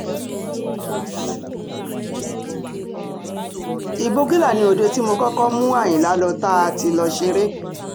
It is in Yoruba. ìgbógunlá ni òde tí mo kọ́kọ́ mú àyìnlá lọ tá a ti lọ́ọ́ ṣeré